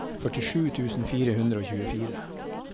førtisju tusen fire hundre og tjuefire